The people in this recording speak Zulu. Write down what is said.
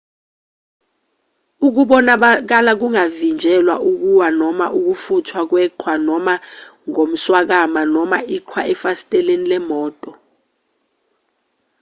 ukubonakala kungavinjelwa ukuwa noma ukufuthwa kweqhwa noma noma ngomswakama noma iqhwa efasiteleni lemoto